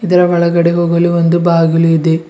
ಇದರ ಒಳಗಡೆ ಹೋಗಲು ಒಂದು ಬಾಗಿಲು ಇದೆ.